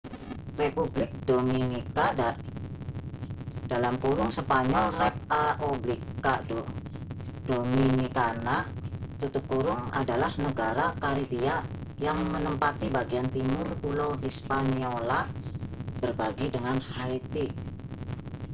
republik dominika spanyol: repãºblica dominicana adalah negara karibia yang menempati bagian timur pulau hispaniola berbagi dengan haiti